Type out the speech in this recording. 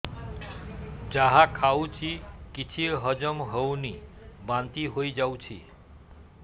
ଯାହା ଖାଉଛି କିଛି ହଜମ ହେଉନି ବାନ୍ତି ହୋଇଯାଉଛି